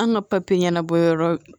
An ka papiye ɲɛnabɔyɔrɔ